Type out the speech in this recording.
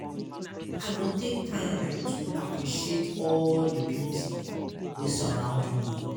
I go take time to appreciate all di beauty wey surround me.